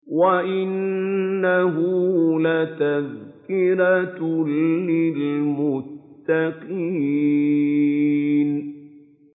وَإِنَّهُ لَتَذْكِرَةٌ لِّلْمُتَّقِينَ